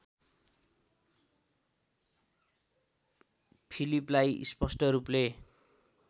फिलिपलाई स्पष्ट रूपले